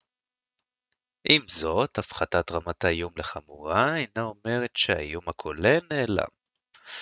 עם זאת הפחתת רמת האיום לחמורה אינה אומרת שהאיום הכולל נעלם